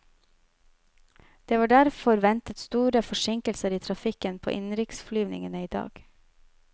Det var derfor ventet store forsinkelser i trafikken på innenriksflyvningene i dag.